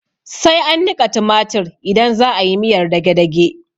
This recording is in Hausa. Sai an niƙa tumatir idan za'ayi miyar dagedage